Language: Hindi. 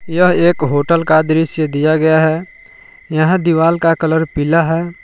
यह एक होटल का दृश्य दिया गया है। यहां दीवार का कलर पिला है।